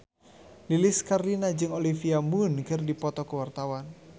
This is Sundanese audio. Lilis Karlina jeung Olivia Munn keur dipoto ku wartawan